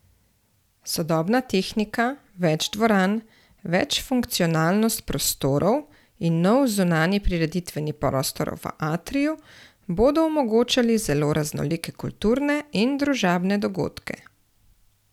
Sodobna tehnika, več dvoran, večfunkcionalnost prostorov in nov zunanji prireditveni prostor v atriju bodo omogočali zelo raznolike kulturne in družabne dogodke.